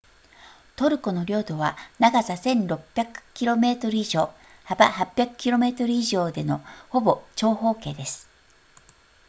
トルコの領土は長さ 1,600 km 以上幅800 km 以上でのほぼ長方形です